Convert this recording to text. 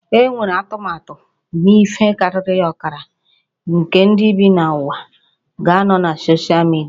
Enwere atụmatụ na ihe karịrị ọkara nke ndị bi n'ụwa ga-anọ na soshal midia